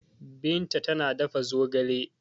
Binta tana dafa zogale.